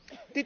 maken.